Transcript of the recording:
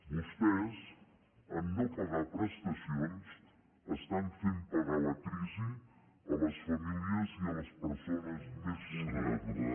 vostès en no pagar prestacions estan fent pagar la crisi a les famílies i a les persones més vulnerables